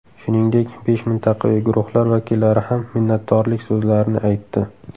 Shuningdek, besh mintaqaviy guruhlar vakillari ham minnatdorlik so‘zlarini aytdi.